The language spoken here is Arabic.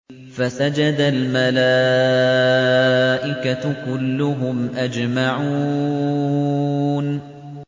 فَسَجَدَ الْمَلَائِكَةُ كُلُّهُمْ أَجْمَعُونَ